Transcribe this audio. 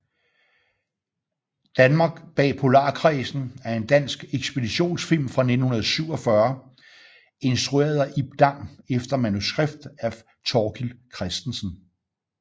Danmark bag Polarkredsen er en dansk ekspeditionsfilm fra 1947 instrueret af Ib Dam efter manuskript af Thorkild Christensen